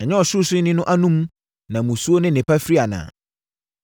Ɛnyɛ Ɔsorosoroni no anom na musuo ne nnepa firi anaa?